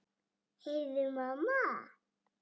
Heyrðu mamma!